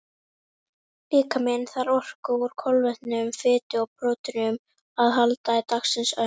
Líkaminn þarf á orku úr kolvetnum, fitu og próteinum að halda í dagsins önn.